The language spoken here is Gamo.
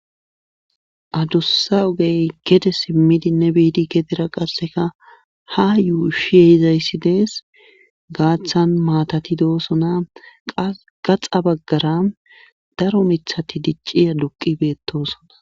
Adussa ogey gede simmidinne biidi gedira qasseka ha yuushshi ehizayssi dees gaaththan maatati doosona qaxa baggara daro miiththati dicci duqqi beettosona